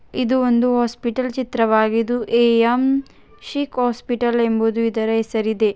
ಇದು ಒಂದು ಹಾಸ್ಪಿಟಲ್ ಚಿತ್ರವಾಗಿದ್ದು ಎ.ಎಂ ಶಿಕ್ ಹಾಸ್ಪಿಟಲ್ ಎಂಬುದು ಇದರ ಹೆಸರಿದೆ.